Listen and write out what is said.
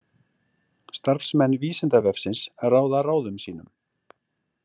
Starfsmenn Vísindavefsins ráða ráðum sínum.